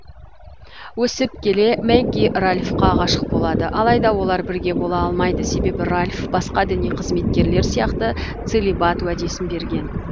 өсіп келе мэгги ральфқа ғашық болады алайда олар бірге бола алмайды себебі ральф басқа діни қызметкерлер сияқты целибат уәдесін берген